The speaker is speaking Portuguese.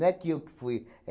é que eu fui.